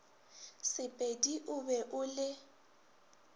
sepedi o be o le